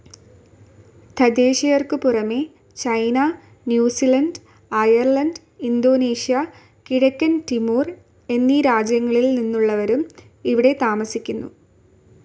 തദ്ദേശീയർക്കുപുറമെ China, New Zealand, Ireland, Indonesia, കിഴക്കൻ Timor എന്നീ രാജ്യങ്ങളിൽനിന്നുള്ളവരും ഇവിടെ താമസിക്കുന്നു.